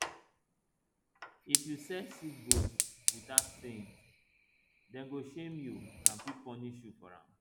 if you sell sick goat without saying dem go shame you and fit punish you for am